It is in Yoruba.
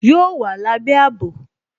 Yóò wà lábé àbò